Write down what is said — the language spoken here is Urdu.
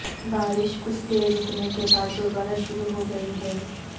بارش کچھ دیر رکنے کے بعد دوبارہ شروع ہوگئی ہے